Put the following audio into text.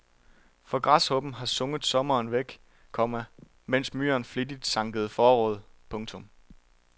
For græshoppen har sunget sommeren væk, komma mens myren flittigt sankede forråd. punktum